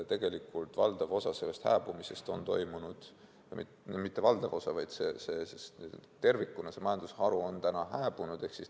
Nii et valdav osa või õigemini mitte valdav osa, vaid tervikuna see majandusharu on tänaseks hääbunud.